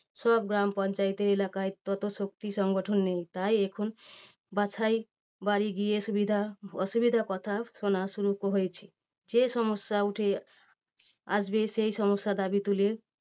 সব গ্রাম পঞ্চায়েতের এলাকায় তত শক্তি সংগঠন নেই, তাই এখন বাছাই বাড়ি গিয়ে সুবিধা অসুবিধার কথা শোনা শুরু হয়েছে। যে সমস্যা উঠে আসবে সেই সমস্যার দাবী তুলে